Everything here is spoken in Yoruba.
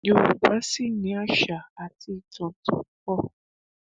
yorùbá sì ni àṣà àti ìtàn tó pọ